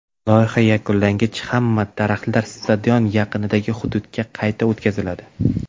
Loyiha yakunlangach, hamma daraxtlar stadion yaqinidagi hududga qayta o‘tqaziladi.